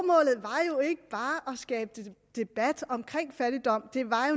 skabe debat omkring fattigdom